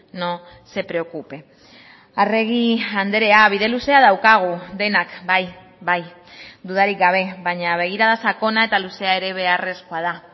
no se preocupe arregi andrea bide luzea daukagu denak bai bai dudarik gabe baina begirada sakona eta luzea ere beharrezkoa da